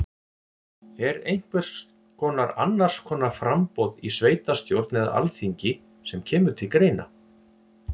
Er einhvers konar annars konar framboð í sveitastjórn eða alþingi sem kemur til greina?